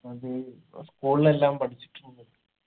അത് school ലെല്ലാം പഠിച്ചിട്ടുണ്ട്